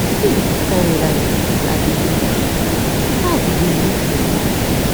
wetin be dis kin life i dey live how i go dey look person.